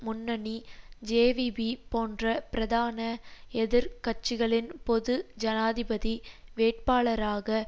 முன்னணி ஜேவிபி போன்ற பிரதான எதிர் கட்சிகளின் பொது ஜனாதிபதி வேட்பாளராக